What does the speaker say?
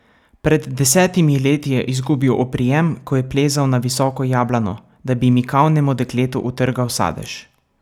Pred desetimi leti je izgubil oprijem, ko je plezal na visoko jablano, da bi mikavnemu dekletu utrgal sadež.